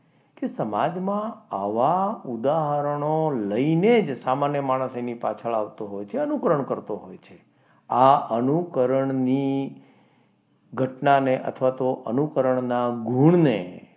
કે સમાજમાં આવા ઉદાહરણ લઈને જ સામાન્ય માણસ એની પાછળ આવતો હોય છે અને એનો અનુકરણ કરતો હોય છે આ અનુકરણની ઘટનાને અથવા તો અનુકરણના ગુણને,